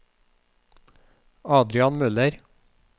Adrian Møller